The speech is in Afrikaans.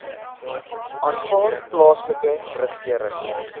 aanvaar plaaslike regering